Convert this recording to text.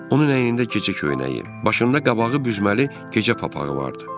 Onun əynində gecə köynəyi, başında qabağı büzməli gecə papağı vardı.